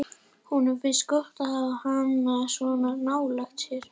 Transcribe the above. Honum finnst gott að hafa hana svona nálægt sér.